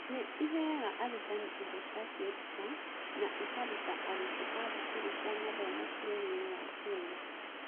Nĩ ĩheaga arutani indo cia kwĩruta na ĩkaruta arutwo a thukuru cia mathomo bũrũri-inĩ wa Kenya.